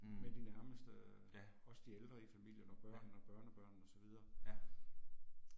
Mh, ja, ja, ja